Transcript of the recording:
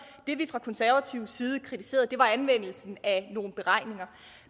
det vi fra konservativ side kritiserede var anvendelsen af nogle beregninger